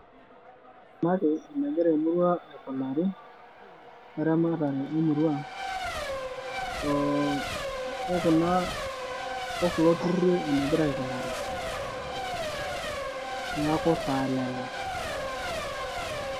ore enagira emurua aikunari weramatare emurua okulo tururi enegira aikunari neeku taa lelo.